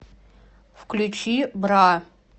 включи бра